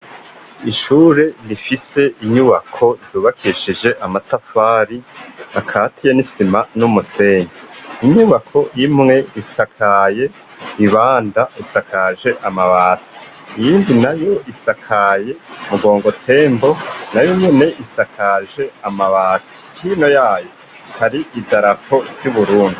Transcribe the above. Ishure rifise inyubako zubakishije amatafari bakatiye n'isima n'umusene inyubako yimwe risakaye ibanda isakaje amabati iyindi na yo isakaye mugongotembo na yo mwene isakaje amabati hino yayo kari idarapo ry'Uburundi.